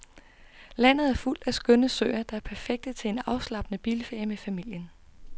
Landet er fuld af skønne søer, der er perfekte til en afslappende bilferie med familien.